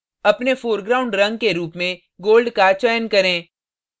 अपने foreground रंग के रूप में gold का चयन करें